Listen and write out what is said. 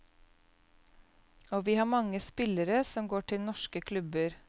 Og vi har mange spillere som går til norske klubber.